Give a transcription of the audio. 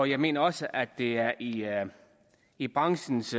jeg mener også at det er i er i branchens